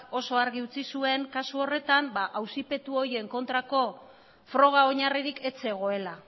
oso argi utzi zuen kasu horretan auzipetu horien kontrako froga oinarririk ez zegoela